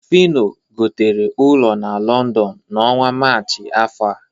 Fịno gotere ụlọ na Lọndọn n'ọnwa Maachị afọ a